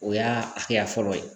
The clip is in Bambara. O y'a hakɛya fɔlɔ ye